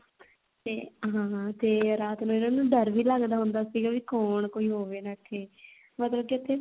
ਤੇ ਹਾਂ ਤੇ ਰਾਤ ਨੂੰ ਇਹਨਾ ਨੂੰ ਡਰ ਵੀ ਲੱਗਦਾ ਹੁੰਦਾ ਸੀਗਾ ਵੀ ਕੋਣ ਕੋਈ ਹੋਵੇ ਨਾ ਇੱਥੇ ਮਤਲਬ ਕੀ ਇੱਥੇ